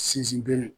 Sinsin bere